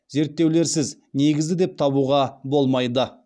зерттеулерсіз негізді деп табуға болмайды